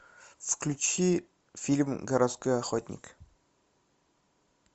включи фильм городской охотник